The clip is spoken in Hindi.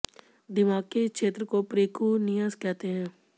दिमाग के इस क्षेत्र को प्रिकुनियस कहते हैं